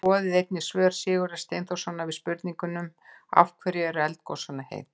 Skoðið einnig svör Sigurðar Steinþórssonar við spurningunum: Af hverju eru eldgos svona heit?